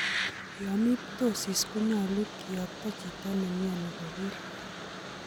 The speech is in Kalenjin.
Yon mi ptosis konyolu kiyokto chito ne mioni koger